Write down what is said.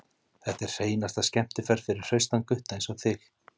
Þetta er hreinasta skemmtiferð fyrir hraustan gutta einsog þig.